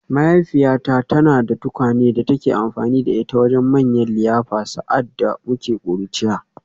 Mahaifiyata tana da tukwane da take amfani da ita wajen manyan liyafa sa’ad da muke ƙuruciya